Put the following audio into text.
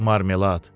marmelad.